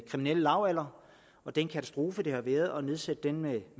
kriminelle lavalder og den katastrofe det har været at nedsætte den med